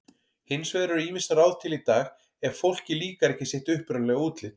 Hins vegar eru ýmis ráð til í dag ef fólki líkar ekki sitt upprunalega útlit.